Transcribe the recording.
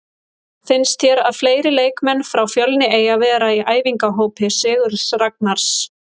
Finnst þér að fleiri leikmenn frá Fjölni eigi að vera í æfingahópi Sigurðs Ragnars?